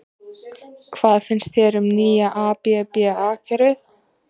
Hvað finnst þér um nýja ABBA kerfið?